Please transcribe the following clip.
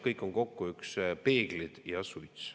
Kõik on kokku üks peeglid ja suits.